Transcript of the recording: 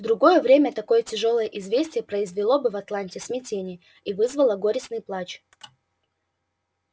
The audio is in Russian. в другое время такое тяжёлое известие произвело бы в атланте смятение и вызвало горестный плач